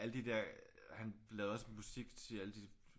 Alle de der han lavede også musik til alle de